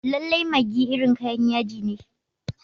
Lallai maggi irin kayan yaji ne.